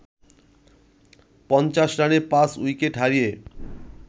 ৫০ রানে পাঁচ উইকেট হারিয়ে